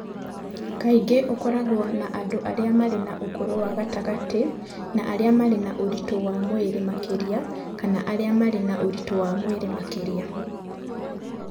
Kaingĩ ũkoragwo na andũ arĩa marĩ na ũkũrũ wa gatagatĩ na arĩa marĩ na ũritũ wa mwĩrĩ makĩria kana arĩa marĩ na ũritũ wa mwĩrĩ makĩria.